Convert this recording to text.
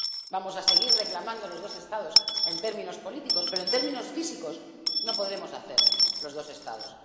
Vamos a seguir reclamando los dos Estados en términos políticos, pero en términos físicos no podremos hacer los dos Estados.